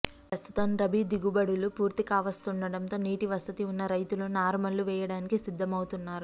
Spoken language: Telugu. ప్రస్తుతం రబీ దిగుబడులు పూర్తి కావస్తుండడంతో నీటి వసతి ఉన్న రైతులు నారుమళ్లు వేయడానికి సిద్దమవుతున్నారు